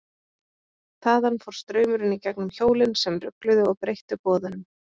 Þaðan fór straumurinn í gegnum hjólin sem rugluðu og breyttu boðunum.